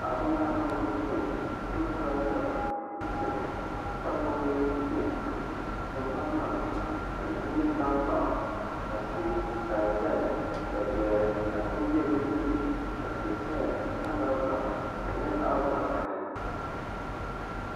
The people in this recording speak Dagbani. Paɣaba nyɛla bin ku doli tabi chɛna ka gbubi guuka ka tingbani maa ni n nyɛ tankpaɣu ka tia ka di saya ka zoya ku bɛ bi tooni ka tia saya ka mali vari ka di nyɛ zaɣ vakaɣali